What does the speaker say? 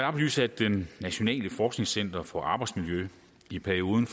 oplyse at det nationale forskningscenter for arbejdsmiljø i perioden